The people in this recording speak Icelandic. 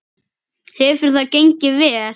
Hefur það gengið vel?